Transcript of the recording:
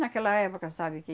Naquela época, sabe, que...